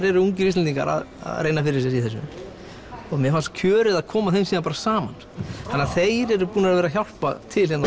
eru ungir Íslendingar að reyna fyrir sér í þessu og mér fannst kjörið að koma þeim síðan bara saman þannig að þeir eru búnir að vera að hjálpa til hérna